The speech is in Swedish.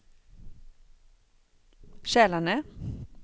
Kälarne